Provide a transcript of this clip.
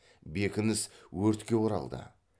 бекініс өртке оралды